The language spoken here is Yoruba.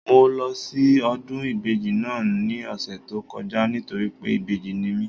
Mo lọ sí ọdún ìbejì náà ní ọ̀sẹ̀ tó kọjá nítorí pé ìbejì ni mi